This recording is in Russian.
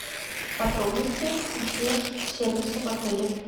подробности консьерж сервиса в отеле